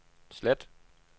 slet